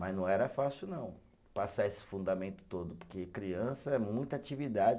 Mas não era fácil não, passar esse fundamento todo, porque criança é muita atividade.